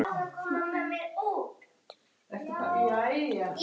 Flyturðu strax norður?